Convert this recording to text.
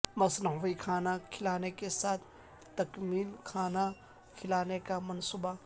مصنوعی کھانا کھلانے کے ساتھ تکمیل کھانا کھلانے کا منصوبہ